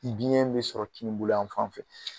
Biyɛn bɛ sɔrɔ kini yan fan fɛ.